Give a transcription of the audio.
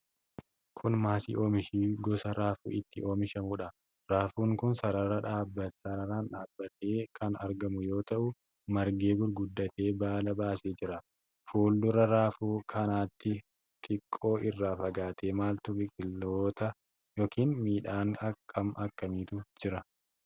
Kun maasii bakka oomishi gosa raafuu itti oomishamuudha. Raafuun kun sararaan dhaabatee kan argamu yoo ta'u, margee gurguddatee baala baasee jira. Fuuldura raafuu kanaatti xiqqoo irraa fagaatee maaltu biqiloota yookiin midhaan akkam akkamiitu jira?